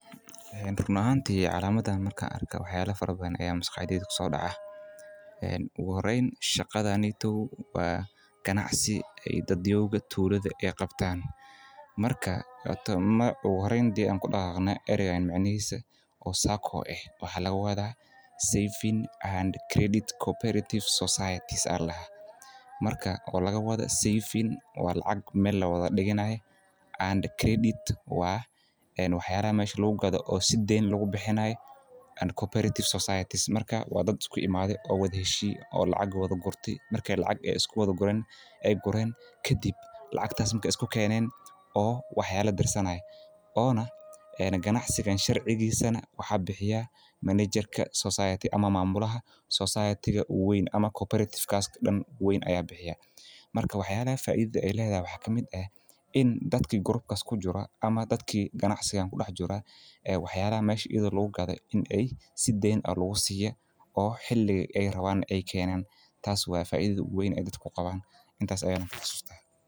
Een run axanti calamadan markan arko wax yaa fara badan aya maskaxdeda kusodaca, een oguxoreyn in shagadaneyto wa ganacsi dadyoyinka tulada ay qabtan, marka oguxoreyn an kudagagno, macnixisa sacco eh waxa lagawada saving and credit cooperative societies aya ladaxa, marka oo lagawado saving oo lacag mel lawada diganayo, and credit wa waxyalaxan mesh lagugado oo si deyn lagubixinay, and cooperative societies marka wa dad iskuimade oo wada xeshiye oo lacag wadagurtay, marka ay lacag iskuwada guren kadib lacagta markay iskukenen oo wax yala dirsanay, ona ganacsigan sharcigisa nah wax bixiya manager society ama mamulaxa society u wen, ama cooperative kas dan uwen aya bixiya, marka waxyala faidada ay ledaxay waxa kamid ah, in dadki group kas kamid ah kujiro ona dadki kujira aya waxyalaxa mesh lagugado in ay si deyn ah lagusiya oo xili ay rawan ay kenan, taas wa faidada ogu weyn o ay kugawan intas aya faidan.